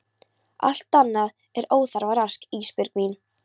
Allt annað er óþarfa rask Ísbjörg mín.